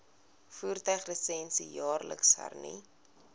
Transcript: voertuiglisensie jaarliks hernu